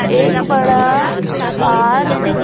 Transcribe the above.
एक बड़ा पार्क --